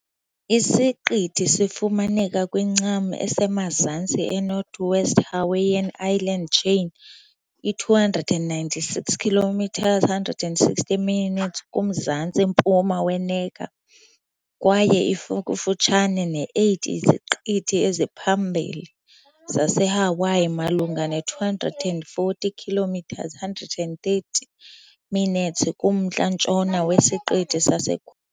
Isiqithi sifumaneka kwincam esemazantsi eNorthwest Hawaiian Island chain, i-296 km, 160 nmi, kumzantsi-mpuma we- Necker kwaye ikufutshane ne-8 iziqithi eziphambili zaseHawaii malunga ne-240 km, 130 nmi, kumntla-ntshona wesiqithi sase.